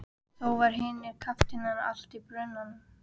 Þá voru hinir kafteinarnir allir í brunanum.